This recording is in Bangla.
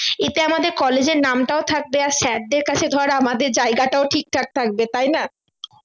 এতে আমাদের College এর নামটাও থাকবে আর sir দেড় কাছে ধর আমাদের জায়গাটাও ঠিকঠাক থাকবে তাই না